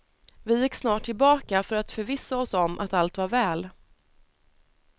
Vi gick snart tillbaka för att förvissa oss om att allt var väl.